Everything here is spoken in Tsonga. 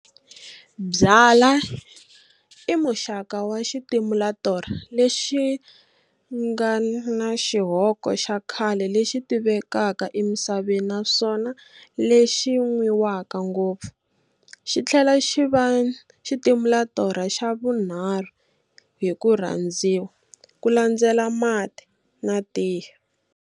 Byala i muxaka wa xitimulatorha lexingana xihoko xa khale lexi tivekaka emisaveni naswona lexi nwiwaka ngopfu, xithela xi va xitimulatorha xavunharhu hi kurhandziwa, kulandzela Mati na Tiye.